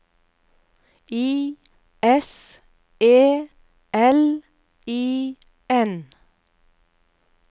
I S E L I N